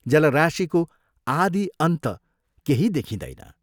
जलराशिको आदि अन्त केही देखिंदैन।